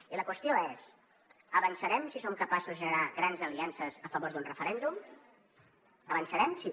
i la qüestió és avançarem si som capaços de generar grans aliances a favor d’un referèndum avançarem si